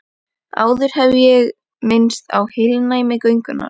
Áður hef ég minnst á heilnæmi göngunnar.